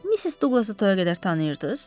Missis Douglası toya qədər tanıyırdınız?